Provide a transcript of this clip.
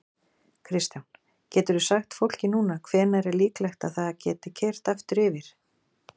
Kristján: Geturðu sagt fólki núna hvenær er líklegt að það geti keyrt aftur yfir?